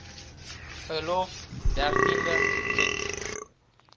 verlof dertiende tjek